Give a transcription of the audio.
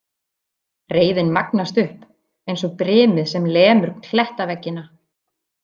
Reiðin magnast upp eins og brimið sem lemur klettaveggina.